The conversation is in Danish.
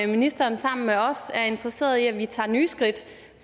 ministeren sammen med os er interesseret i at vi tager nye skridt